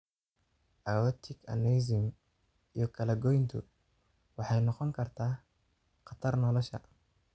Aortic aneurysm iyo kala goyntu waxay noqon kartaa khatar nolosha.